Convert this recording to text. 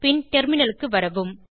பின் டெர்மினலுக்கு வரவும்